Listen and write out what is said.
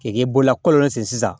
K'i k'i bolola kɔlɔn sen sisan